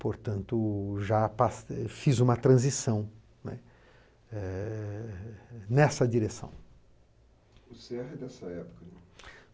Portanto, já pas fiz uma transição, né, eh nessa direção.